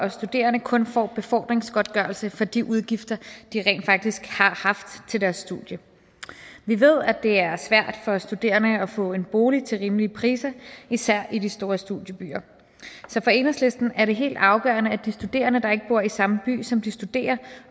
og studerende kun får befordringsgodtgørelse for de udgifter de rent faktisk har haft til deres studier vi ved at det er svært for studerende at få en bolig til en rimelig pris især i de store studiebyer så for enhedslisten er det helt afgørende at de studerende der ikke bor i samme by som de studerer